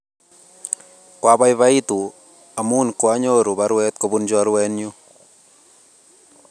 Kwapaipaitu amun kwanyoru parwet kopun chorwenyu